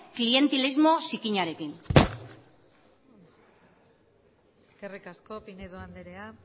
klientelismo zikinarekin eskerrik asko pinedo andrea